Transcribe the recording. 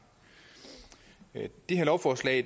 det her lovforslag